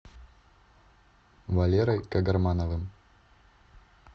валерой кагармановым